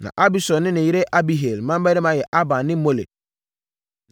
Na Abisur ne ne yere Abihail mmammarima yɛ Ahban ne Molid.